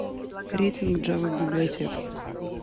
рейтинг джава библиотек